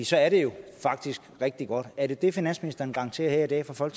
så er det jo faktisk rigtig godt er det det finansministeren garanterer her i dag fra fra